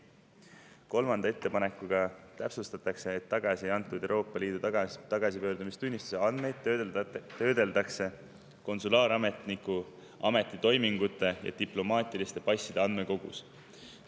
Kolmanda ettepanekuga täpsustatakse, et tagasi antud Euroopa Liidu tagasipöördumistunnistuse andmeid töödeldakse konsulaarametniku ametitoimingute ja diplomaatiliste passide andmekogus.